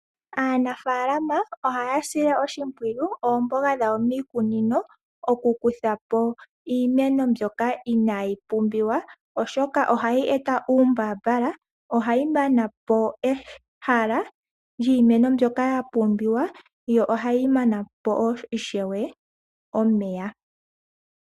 Aanafaalama ohaya sile oshimpwiyu oomboga dhawo miikunino okukutha po iimeno mbyoka inayi pumbiwa, oshoka ohayi eta uumbaambala. Ohayi mana po ehala lyiimeno mbyoka ya pumbiwa, yo ohayi mana po ishewe omeya.